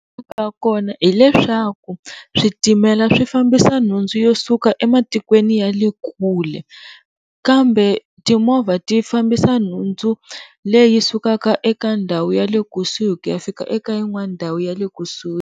Ka kona hileswaku switimela swi fambisa nhundzu yo suka ematikweni ya le kule, kambe timovha ti fambisa nhundzu leyi sukaka eka ndhawu ya le kusuhi ku ya fika eka yin'wana ndhawu ya le kusuhi.